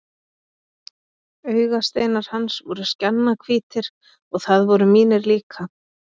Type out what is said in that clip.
Augasteinar hans voru skjannahvítir og það voru mínir líka.